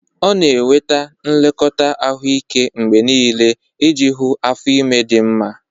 Ọ na-enweta nlekọta ahụike mgbe niile iji hụ afọ ime di nma.